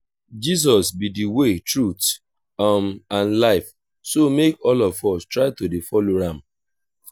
jesus be the way truth um and life so make all of us try to dey follow am